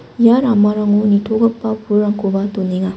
ia ramarango nitogipa pulrangkoba donenga.